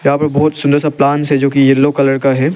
यहां पर बहोत सुंदर सा प्लांट्स है जो कि येलो कलर का है।